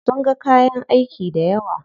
Sun ga kayan aiki dayawa.